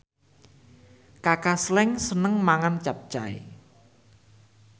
Kaka Slank seneng mangan capcay